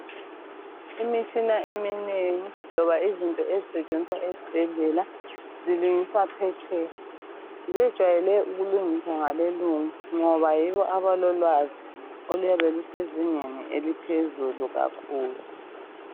Imitshina eminengi, loba izinto esisetshenziswa ezibhedlela, zilungiswa petsheya. Zejwayele ukulungiswa ngabelungu ngoba yibo alolwazi oluyabe lusezingeni eliphezulu kakhulu.